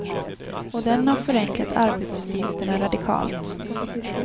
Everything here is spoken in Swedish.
Och den har förenklat arbetsuppgifterna radikalt.